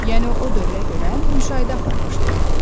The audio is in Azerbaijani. Yəni o dövrə görə müşahidə aparmışdılar.